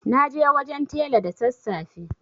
Na je wajen tela da sassafe.